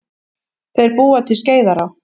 Þeir búa til Skeiðará.